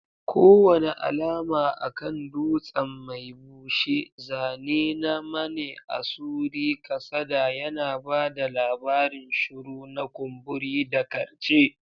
Kowane alama a kan dutsen mai bushe, zane na maneasuri kasada, yana ba da labarin shuru na kumburi da karce.